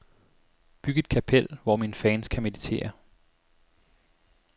Byg et kapel, hvor mine fans kan meditere.